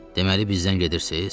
Deməli, bizdən gedirsiz?